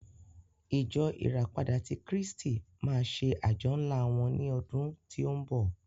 Ìjọ ìràpadà tí kristi máa ṣe àjọ ńlá wọ́n ní ọdún tí ó ń bọ̀.